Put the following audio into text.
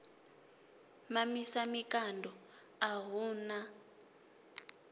mamisa mikando a hu na